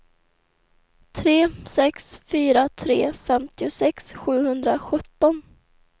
tre sex fyra tre femtiosex sjuhundrasjutton